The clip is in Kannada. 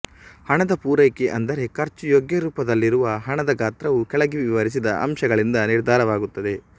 ಹಣದ ಪೂರೈಕೆ ಅಂದರೆ ಖರ್ಚು ಯೋಗ್ಯರೂಪದಲ್ಲಿರುವ ಹಣದ ಗಾತ್ರವು ಕೆಳಗೆ ವಿವರಿಸಿದ ಅಂಶಗಳಿಂದ ನಿರ್ಧಾರವಾಗುತ್ತದೆ